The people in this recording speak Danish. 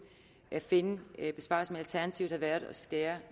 at finde besparelser når alternativet har været at skære